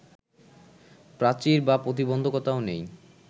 প্রাচীর বা প্রতিন্ধকতাও নেই